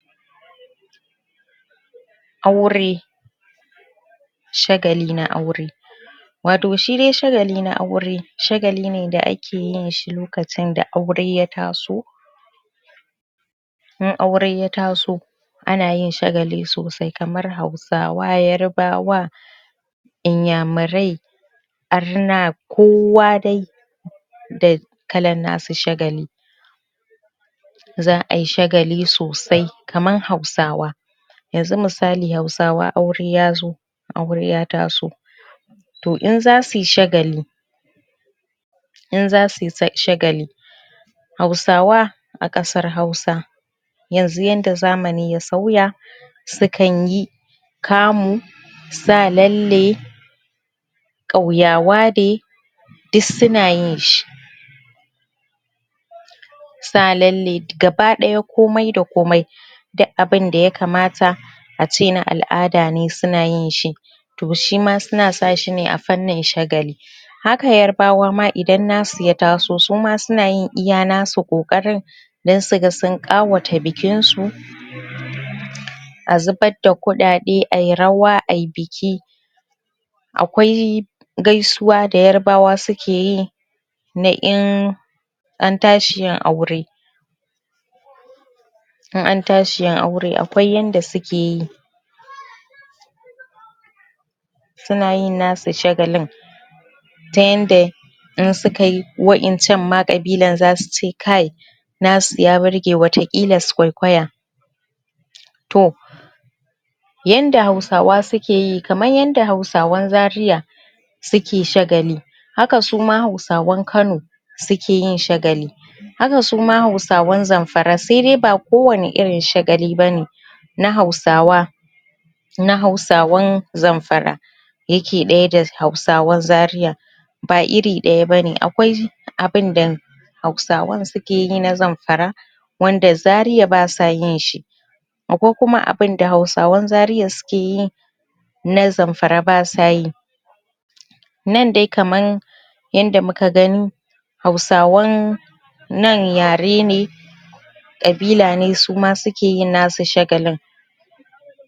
Aure shagali na aure wato shi dai shagai na aure shagali ne da ake yin shi lokacin da aure ya taso in aure ya taso ana yin shagali sosai kamar hausawa yarbawa iyamirai arna kowa dai da kallan nasu shagali za'ayi shagali sosai kaman hausawa yanzu misali hausawa aure yazo aure ya taso toh in zasuyi shagali in zasuyi shagali hausawa a kasar hausa yanzu yanda zamani ya soya su kan yi kamu sa lalle kauyawa day duk suna yin shi sa lalle gaba ɗaya komai da komai duk abin da yakamata ace na al'ada ne suna yin shi toh shima suna sa shi ne a fannin shagali haka yarbawa idan nasu ya taso suma suna yin iya nasu kokarin dan su ka sun ƙawata bikin su a zuɓar da kuɗaɗe ayi rawa rawa ayi biki akwai gaisuwa da yarbawa suke yi na in antashi yin aure in an tashi yin aure akwai yanda suke yi suna yin nasu shagalin ta yanda in suka yi wa'en can ma qabilan zasu ce kai na su ya ɓirge wata kilan su ƙwaiƙwaya toh yanda hausawa suke yi kamn yanda hausawan zaria suke shagali haka suma hausawan kano suke yin shagali haka ma hausawan zamfara saidai ba kowani irin shagali bane hausawa na hausawan zamfara yake ɗaya da hausawan zaria ba iri ɗaya bane akwai abunda hausawan suke yi na zamfara wanda zaria basu yi shi akwai kum abunda hausawan zaria suke yi na zamfara basu yi nan dai kaman yanda muka gani hausawan nan yare na qibla ne suma suke yin nasu shagalin